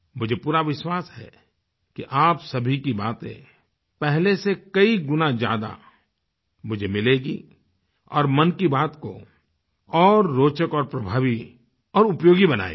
मुझे पूरा विश्वास है कि आप सभी की बातें पहले से कई गुना ज़्यादा मुझे मिलेंगी और मन की बात को और रोचक और प्रभावी और उपयोगी बनाएगी